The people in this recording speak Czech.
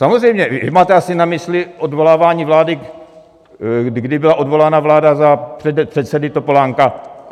Samozřejmě vy máte asi na mysli odvolávání vlády, kdy byla odvolána vláda za předsedy Topolánka.